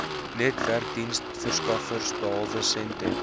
netwerkdiensverskaffers behalwe sentech